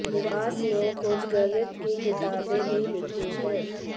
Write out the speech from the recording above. निवास ने कुछ गणित की किताबे भी लिखी है